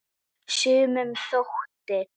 Sumum þótti!